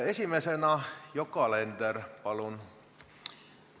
Esimesena Yoko Alender, palun!